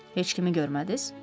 Heç kimi görmədiniz?